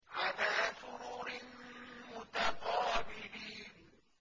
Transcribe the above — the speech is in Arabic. عَلَىٰ سُرُرٍ مُّتَقَابِلِينَ